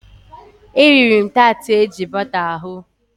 E riri m taatị eji bọta hụ.